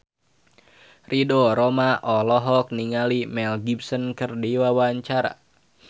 Ridho Roma olohok ningali Mel Gibson keur diwawancara